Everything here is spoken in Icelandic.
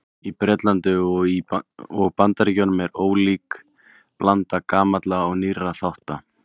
Í Bretlandi og Bandaríkjunum er ólík blanda gamalla og nýrra þátta.